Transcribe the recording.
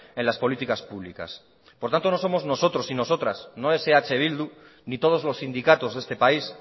en las políticas públicas por tanto no somos nosotros y nosotras no es eh bildu ni todos los sindicatos de este país